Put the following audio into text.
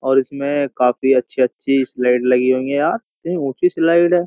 और इसमें काफी अच्छी-अच्छी स्लाइड लगी हुई है यार इतनी ऊंची स्लाइड है।